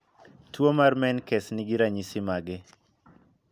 Tuo mar menkes ni gi ranyisi mage?